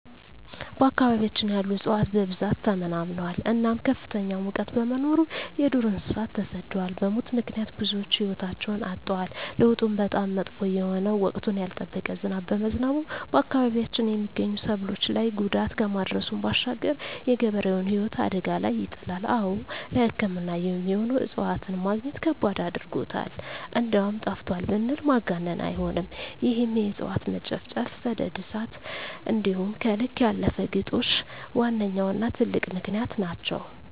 በአካባቢያችን ያሉ እፅዋት በብዛት ተመናምነዋል እናም ከፍተኛ ሙቀት በመኖሩ የዱር እንሰሳት ተሰደዋል በሙት ምክንያት ብዙወች ህይወታቸዉን አጠዋል። ለዉጡም በጣም መጥፎ የሆነ ወቅቱን ያልጠበቀ ዝናብ በመዝነቡ በአካባቢያችን የመገኙ ሰብሎች ላይ ጉዳት ከማድረሱም ባሻገር የገበሬዉን ህይወት አደጋ ላይ ይጥላል። አወ ለሕክምና የሚሆኑ እፅዋትን መግኘት ከባድ አድርጎታል እንደዉም ጠፍተዋል ብንል ማጋነን አይሆንም ይህም የእፅዋት መጨፍጨፍ፣ ሰደድ እሳት እንዲሆም ከልክ ያለፈ ግጦሽ ዋነኛዉና ትልቁ ምክንያት ናቸዉ።